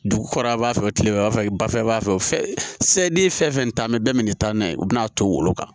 Dugu kɔrɔla b'a fɛ tilema fɛ ba fana b'a fɛ se ne ye fɛn fɛn ta an bɛ bɛɛ minɛ nin taa n'a ye u bɛ n'a ton o bolo kan